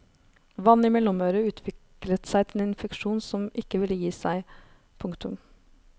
Vann i mellomøret utviklet seg til en infeksjon som ikke ville gi seg. punktum